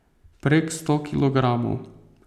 Prek sto kilogramov.